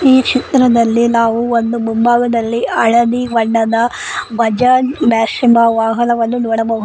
ಈ ಚಿತ್ರದಲ್ಲಿ ನಾವು ಒಂದು ಮುಂಭಾಗದಲ್ಲಿ ಹಳದಿ ಬಣ್ಣದ ಬಜಾಜ್ ಮ್ಯಾಕ್ಸಿಮ ವಾಹನವನ್ನು ನೋಡಬಹು --